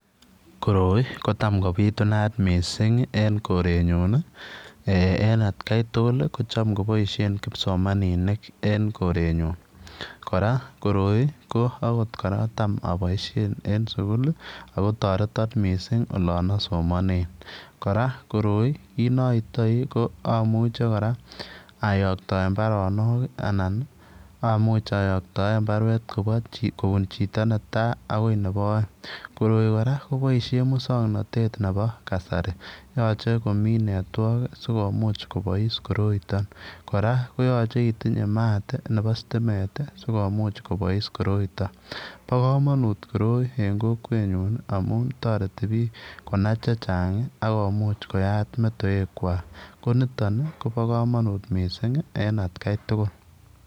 Koroi kotam kobitunat mising eng Korn nyun en atkan tugul ko cham koboisie kipsomaninik en koren nyun, kora korip ko kora tam aboishen en sugul akotoreti mising Olean somane kora koroi kit naitoi ko amuche kora ayoktoen baronok ana amuchi ayoktoen baruet kopun chito netai akoi nebo oeng. Koroi kora koboisie musongnotet nebo kasari yochei komi network sikomuch kobois koroi kora koyochei itinye maat nebo sitimet sikomuch kobois koroiton bo komonut koroi eng kokwetnyun amun toreti piik konai tuguuk chechang koyat metewekwa koniton kobokomonut mising en atken tugul.